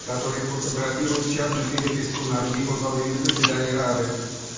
который фотографирует частную переписку норвегии во время заседания рады